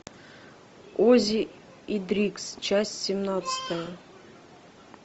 оззи и дрикс часть семнадцатая